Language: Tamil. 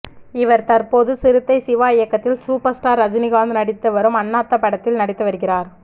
இவர் தற்போது சிறுத்தை சிவா இயக்கத்தில் சூப்பர் ஸ்டார் ரஜினிகாந்த் நடித்து வரும் அண்ணாத்த படத்தில் நடித்து வருகிறார்